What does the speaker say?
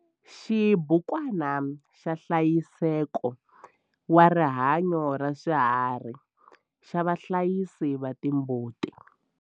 Xibukwana xa nhlayiseko wa rihanyo ra swiharhi xa vahlayisi va timbuti.